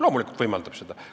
Loomulikult ta võimaldab seda.